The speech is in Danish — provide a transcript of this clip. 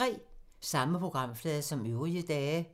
Samme programflade som øvrige dage